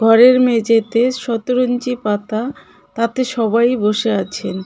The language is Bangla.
ঘরের মেঝেতে শতরঞ্জি পাতা তাতে সবাই বসে আছেন.